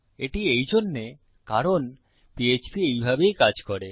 এটি এইজন্যে কারণ পিএচপি এইভাবেই কাজ করে